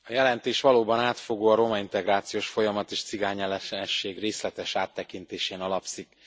Elnök asszony! A jelentés valóban átfogó, a romaintegrációs folyamat és cigányellenesség részletes áttekintésén alapszik.